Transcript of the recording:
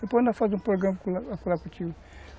Depois nós faremos um programa lá contigo.